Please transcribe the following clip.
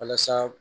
Walasa